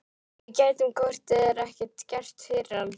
Við gætum hvort eð er ekkert gert fyrir hann.